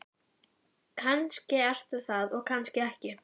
Kannski ertu það og kannski ekki.